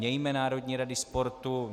Mějme národní rady sportu.